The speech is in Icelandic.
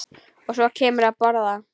Og svo kemurðu að borða!